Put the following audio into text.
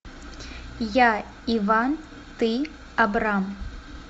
я иван ты абрам